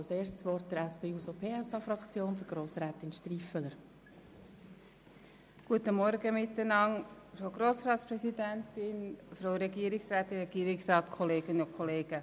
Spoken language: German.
Ich erteile zuerst Grossrätin Striffeler das Wort für die SP-JUSO-PSAFraktion.